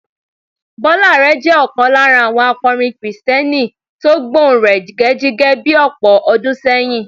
Bọ́lá Àrẹ jẹ́ ọ̀kan lára àwọn akọrin kìrìsìtẹ́nì tó gbọ̀nrẹ̀gẹ̀jigẹ̀ bí ọ̀pọ̀ ọdún sẹ́yìn.